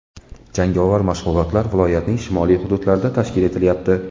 Jangovar mashg‘ulotlar viloyatning shimoliy hududlarida tashkil etilayapti.